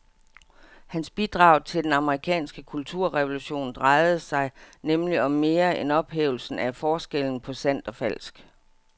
Hans bidrag til den amerikanske kulturrevolution drejede sig nemlig om mere end ophævelsen af forskellen på sandt og falsk.